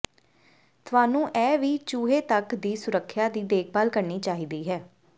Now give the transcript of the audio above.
ਤੁਹਾਨੂੰ ਇਹ ਵੀ ਚੂਹੇ ਤੱਕ ਦੀ ਸੁਰੱਖਿਆ ਦੀ ਦੇਖਭਾਲ ਕਰਨੀ ਚਾਹੀਦੀ ਹੈ